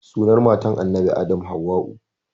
Sunan matar annabi adam hauwa'u